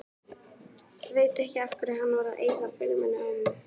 Veit ekki af hverju hann var að eyða filmunni á mig.